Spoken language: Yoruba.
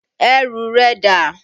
Ẹrù rẹ dà?